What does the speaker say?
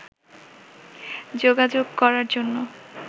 যোগাযোগ করার জন্য